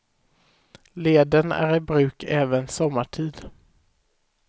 Leden är i bruk även sommartid.